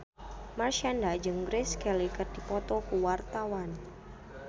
Marshanda jeung Grace Kelly keur dipoto ku wartawan